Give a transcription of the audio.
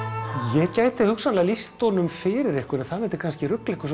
ég gæti hugsanlega lýst honum fyrir ykkur en það myndi kannski rugla ykkur